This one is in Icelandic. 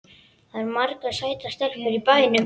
Það eru margar sætar stelpur í bænum.